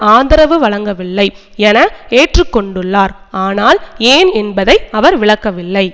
ஆதரவு வழங்கவில்லை என ஏற்றுக்கொண்டுள்ளார் ஆனால் ஏன் என்பதை அவர் விளக்கவில்லை